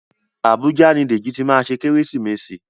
Abuja ni Deji tí má ṣe Kérésìmesì